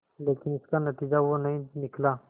लेकिन इसका नतीजा वो नहीं निकला